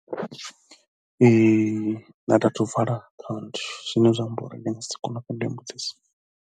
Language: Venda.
Ee nṋe a thu athu u vala akhaunthu zwine zwa amba uri ndi nga si kone u fhindula heyo mbudziso.